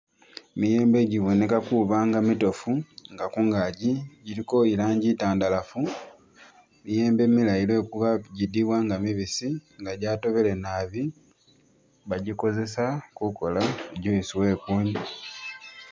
Miyembe giboneka kubanga mitofu nga kungagi giliko ilangi itandalafu miyembe milayi lwekuba gidiwa nga mibisi nga gyatobele naabi bagikozesa kukola juice wekunwya